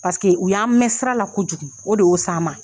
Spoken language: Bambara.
u y'an mɛ sira la kojugu, o de y'o s'an ma.